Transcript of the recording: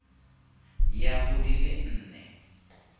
ya go di le nne